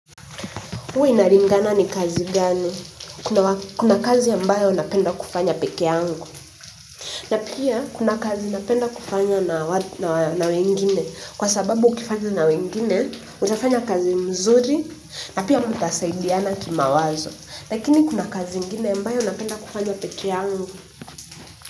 Huwa inalingana ni kazi gani. Kuna kazi ambayo napenda kufanya pekeyangu. Na pia kuna kazi napenda kufanya na wengine kwa sababu ukifanya na wengine utafanya kazi nzuri na pia mtasaidiana kimawazo lakini kuna kazi yambayo unapenda kufanya peke angu.